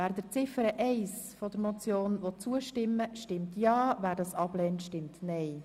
Wer Ziffer 1 als Motion annehmen will, stimmt Ja, wer dies ablehnt, stimmt Nein.